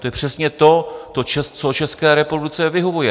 To je přesně to, co České republice vyhovuje.